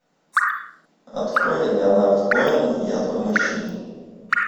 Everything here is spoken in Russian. открой леонард коин я твой мужчина